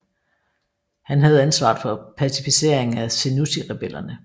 Han havde ansvaret for pacificering af Senussi rebellerne